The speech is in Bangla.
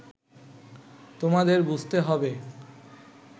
তোমাদের বুঝতে হবে